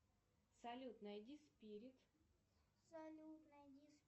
салют найди спирит